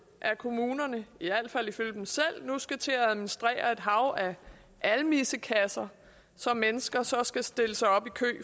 at kommunerne i al fald ifølge dem selv nu skal til at administrere et hav af almissekasser som mennesker så skal stille sig op i kø